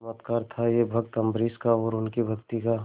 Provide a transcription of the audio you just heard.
चमत्कार था यह भक्त अम्बरीश का और उनकी भक्ति का